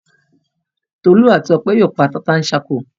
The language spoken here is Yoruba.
Tolú àti Ọpẹ́ yóò pa tata-n-sánkọ.